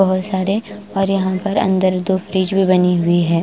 बहुत सारे और यहाँ पर अंदर दो फ्रिज भी बनी हुई है।